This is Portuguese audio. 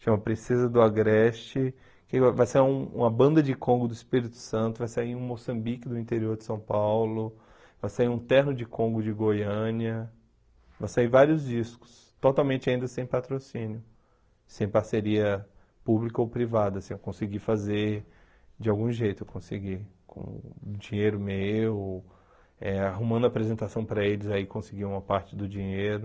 chama Princesa do Agreste, que vai vai sair uma banda de Congo do Espírito Santo, vai sair um Moçambique do interior de São Paulo, vai sair um terno de Congo de Goiânia, vai sair vários discos, totalmente ainda sem patrocínio, sem parceria pública ou privada, assim, eu consegui fazer de algum jeito, eu consegui, com dinheiro meu, eh arrumando apresentação para eles, aí consegui uma parte do dinheiro,